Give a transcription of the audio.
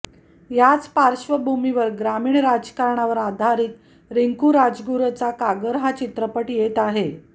याच पार्श्वभूमीवर ग्रामीण राजकारणावर आधारित रिंकू राजगुरूचा कागर हा चित्रपट येत आहे